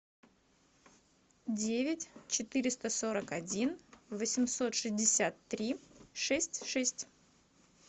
девять четыреста сорок один восемьсот шестьдесят три шесть шесть